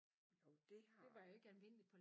Jo det har jeg